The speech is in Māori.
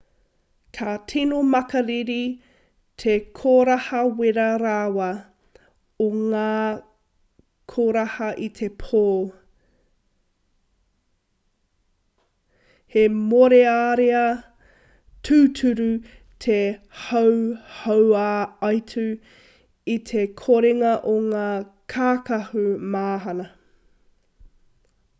ka tino makariri te koraha wera rawa o ngā koraha i te pō he mōrearea tūturu te hauhauaitu i te korenga o ngā kākahu mahana